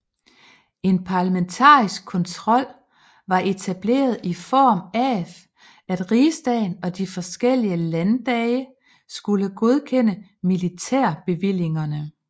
En parlamentarisk kontrol var etableret i form af at rigsdagen og de forskellige landdage skulle godkende militærbevillingerne